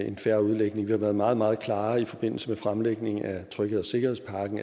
en fair udlægning vi har været meget meget klare i forbindelse med fremlæggelsen af trygheds og sikkerhedspakken